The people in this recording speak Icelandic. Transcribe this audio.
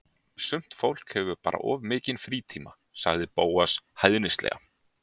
Sumt fólk hefur bara of mikinn frítíma- sagði Bóas hæðnislega.